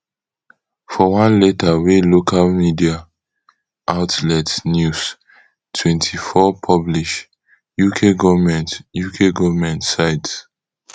for one letter wey local media outlet news twenty-four publish uk goment uk goment cite